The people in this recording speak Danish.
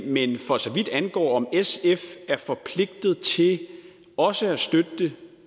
men for så vidt angår om sf er forpligtet til også at støtte det